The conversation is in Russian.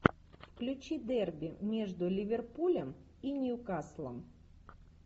включи дерби между ливерпулем и ньюкаслом